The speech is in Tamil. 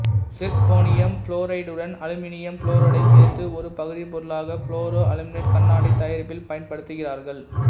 சிர்க்கோனியம் புளோரைடுடன் அலுமினியம் புளோரைடைச் சேர்த்து ஒரு பகுதிப்பொருளாக புளோரோ அலுமினேட்டு கண்ணாடி தயாரிப்பில் பயன்படுத்துகிறார்கள்